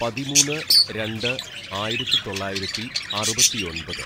"പതിമൂന്ന് രണ്ട് ആയിരത്തിതൊള്ളായിരത്തി അറുപത്തിയൊമ്പത്‌